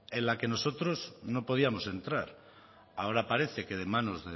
en la que nosotros no podíamos entrar ahora parece que de manos